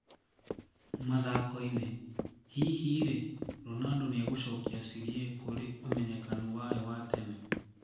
(Mathako-inĩ) Hihi rĩĩ, Ronaldo niegũcokia Serie A kũrĩ ũmenyekanu wayo wa tene?